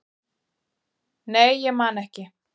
nei, ég man ekki